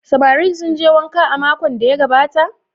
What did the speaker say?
Samarin sun je wanka a makon da ya gabata?